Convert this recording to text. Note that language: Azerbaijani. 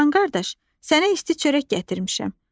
Çoban qardaş, sənə isti çörək gətirmişəm.